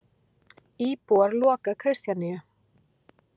Íbúar loka Kristjaníu